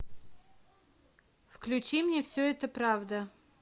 включи мне все это правда